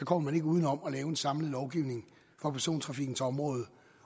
kommer uden om at lave en samlet lovgivning for persontrafikkens område